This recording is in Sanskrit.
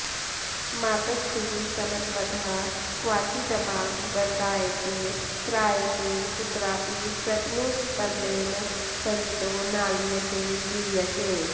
मातस्तीर समत्वतः क्वाचिदपां गतार्यसे त्रायसे कुत्रापि प्रतनुस्पदेन सरितो नालीयसे गीयसे